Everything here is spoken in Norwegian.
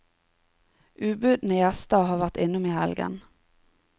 Ubudne gjester har vært innom i helgen.